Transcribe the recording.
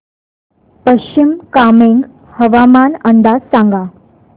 पश्चिम कामेंग हवामान अंदाज सांगा